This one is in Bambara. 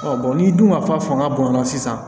n'i dun ka fa fanga bonyana sisan